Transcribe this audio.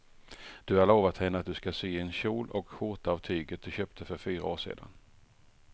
Du har lovat henne att du ska sy en kjol och skjorta av tyget du köpte för fyra år sedan.